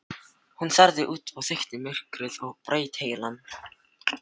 Hún starði út í þykkt myrkrið og braut heilann.